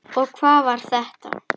Og hvað var þetta?